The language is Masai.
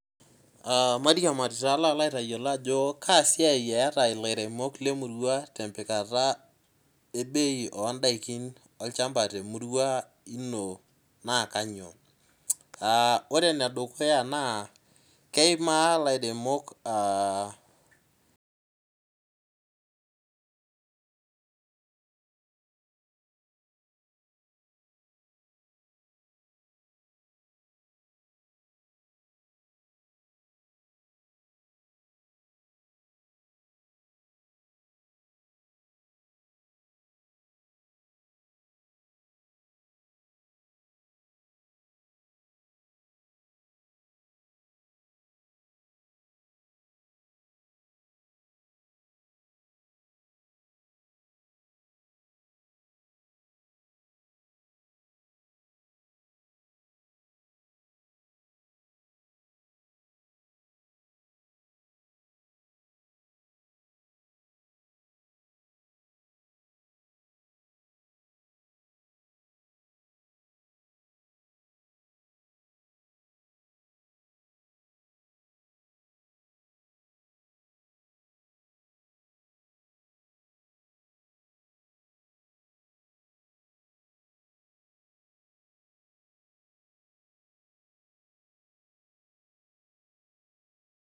Aa mairiamari palo aitayiolo ajo kaasiai eata lairemok lemurua tempikata ebei ondakin olchamba twmurua ino na kanyio ore enedukuya na keima lairemok aa